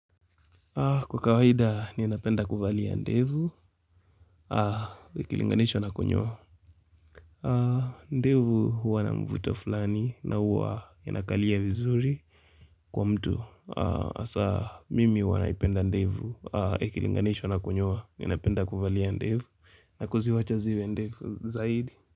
Kwa kawaida ninapenda kuvalia ndevu Ikilinganishww na kunyoa ndevu huwa na mvuto fulani na yanakalia vizuri Kwa mtu, hasa mimi huwa naipenda ndevu Ikilinganishwa na kunyoa, ni inapenda kuvalia ndevu na kuziwacha ziwe ndefu zaidi.